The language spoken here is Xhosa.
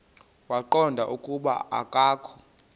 waqonda ukuba akokho